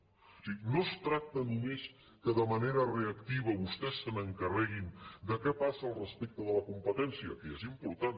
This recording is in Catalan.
o sigui no es tracta només que de manera reactiva vostès se n’encarreguin de què passa respecte a la competència que ja és impor·tant